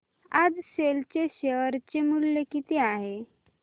आज सेल चे शेअर चे मूल्य किती आहे